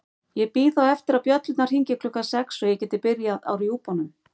Ég bíð þá eftir að bjöllurnar hringi klukkan sex svo ég geti byrjað á rjúpunum.